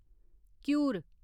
घीयूर